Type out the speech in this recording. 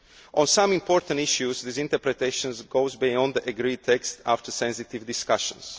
text. On some important issues, this interpretation goes beyond the text agreed after sensitive discussions.